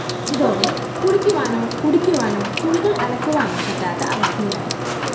ഇതോടെ കുളിക്കുവാനോ കുടിക്കുവാനോ തുണികള്‍ അലക്കുവാനോ പറ്റാത്ത അവസ്ഥയിലായി